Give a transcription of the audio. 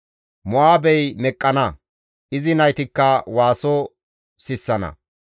Mo7aabey meqqana; izi naytikka waaso sissana.